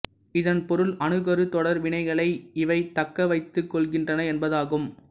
இதன் பொருள் அணுக்கரு தொடர் வினைகளை இவை தக்க வைத்துக் கொள்கின்றன என்பதாகும்